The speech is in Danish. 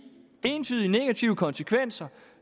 entydigt negative konsekvenser